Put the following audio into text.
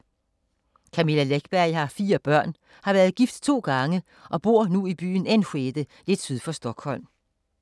Camilla Läckberg har fire børn, har været gift to gange og bor nu i byen Enskede lidt syd for Stockholm.